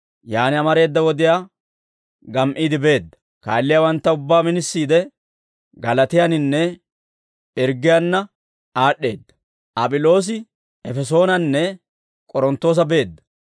Yaan amareeda wodiyaa gam"iide beedda; kaalliyaawantta ubbaa minisiide, Galaatiyaannanne Pirggiyaanna aad'd'eedda.